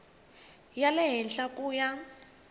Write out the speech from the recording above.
ya le henhla ku ya